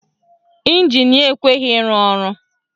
Ịnjin ya ekweghi ịrụ ọrụ